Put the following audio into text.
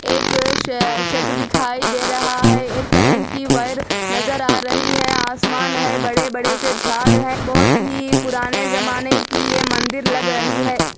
एक शे शेड दिखाई दे रहा है एक करंट की वायर नजर आ रही हैं आसमान है बड़े-बड़े से झाड़ है बहोत ही पुराने जमाने की ये मंदिर लग रही है।